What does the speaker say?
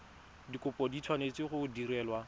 dikopo di tshwanetse go direlwa